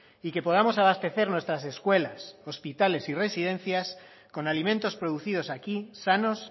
y que podamos abastecer nuestras escuelas hospitales y residencias con alimentos producidos aquí sanos